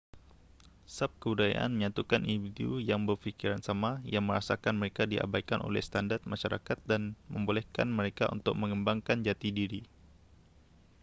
subkebudayaan menyatukan individu yang berfikiran sama yang merasakan mereka diabaikan oleh standard masyarakat dan membolehkan mereka untuk mengembangkan jati diri